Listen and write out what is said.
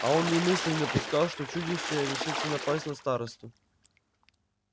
а он и мысли не допускал что чудище решится напасть на старосту